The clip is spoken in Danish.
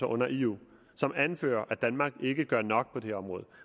under eu som anfører at danmark ikke gør nok på det her område